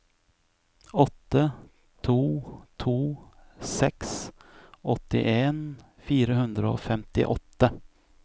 åtte to to seks åttien fire hundre og femtiåtte